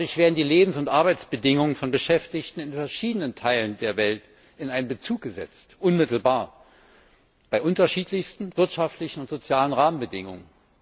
Dadurch werden die Lebens und Arbeitsbedingungen von Beschäftigten in verschiedenen Teilen der Welt in einen Bezug gesetzt, unmittelbar, bei unterschiedlichsten wirtschaftlichen und sozialen Rahmenbedingungen.